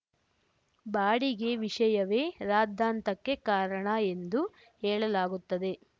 ಬಾಡಿಗೆ ವಿಷಯವೇ ರಾದ್ದಾಂತಕ್ಕೆ ಕಾರಣ ಎಂದು ಹೇಳಲಾಗುತ್ತದೆ